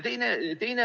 Teine moment.